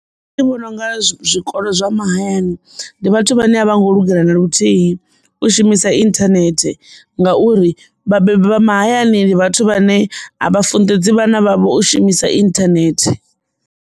Nṋe ndi vhona unga zwikolo zwa mahayani ndi vhathu vhane a vho ngo lugela na luthihi u shumisa internet ngauri vhabebi vha mahayani ndi vhathu vhane a vha funḓedzi vhana vhavho shumisa internet.